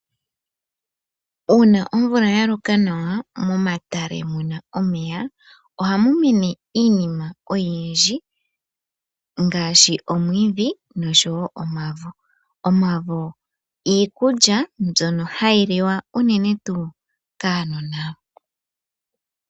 Uuna omvula yaloka nawa momatale muna omeya ohamu mene iinima oyindji ngaashi omwiidhi noshowoo omavo . Omavo iikulya mbyono hayi liwa unene tuu kuunona .